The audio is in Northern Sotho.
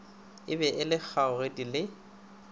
e be le kgogedi le